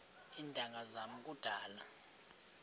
iintanga zam kudala